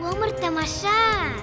өмір тамаша